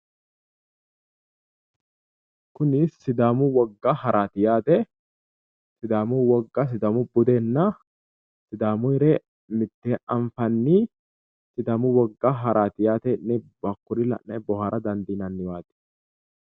Kuni sidaamu wogga haraati yaate. sidaamu wogga sidaamu budenna sisaamuyire mitteenni anfanni sidaamu wogga haraati yaate hakkuri la'ne boohaarra dandiinanni waati.